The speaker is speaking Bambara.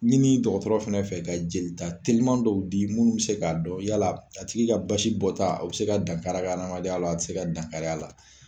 Ɲini dɔgɔtɔrɔ fɛnɛ fɛ ka jeli ta teliman dɔw di minnu bɛ se ka'a dɔn yala a tigi ka basi bɔ ta o bɛ se ka dankari a ka adamadenya la a tɛ se ka dankari a la.